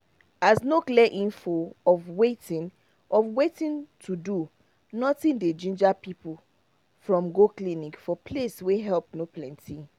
as no clear info of watin of watin to do nothing dey ginger people from go clinic for place wey help no plenty